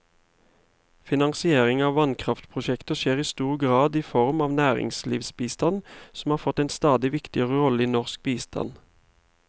Finansiering av vannkraftprosjekter skjer i stor grad i form av næringslivsbistand, som har fått en stadig viktigere rolle i norsk bistand.